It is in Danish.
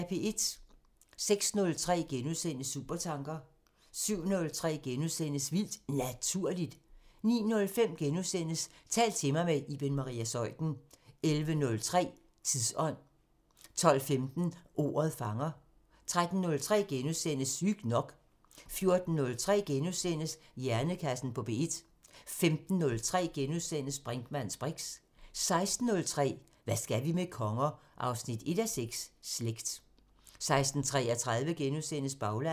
06:03: Supertanker * 07:03: Vildt Naturligt * 09:05: Tal til mig – med Iben Maria Zeuthen * 11:03: Tidsånd 12:15: Ordet fanger 13:03: Sygt nok * 14:03: Hjernekassen på P1 * 15:03: Brinkmanns briks * 16:03: Hvad skal vi med konger? 1:6 – Slægt 16:33: Baglandet *